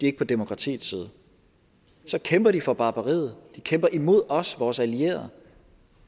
ikke på demokratiets side så kæmper de for barbariet de kæmper imod os og vores allierede